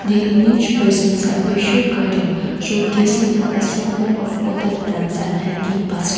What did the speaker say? the image presents a peso garden showcasing and assortment of potted plans and hanging basket.